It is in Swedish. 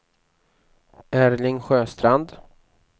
Erling Sjöstrand